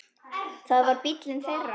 Það var bíllinn þeirra.